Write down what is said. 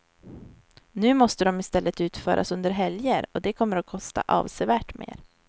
Nu måste de i stället utföras under helger, och det kommer att kosta avsevärt mer.